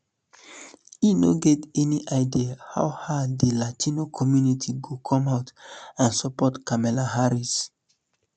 e no get any idea how hard um di latino community go come out and support kamala harris